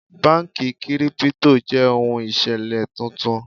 Báńkì Kírípútò jẹ́ ohun ìṣẹ̀lẹ̀ tuntun.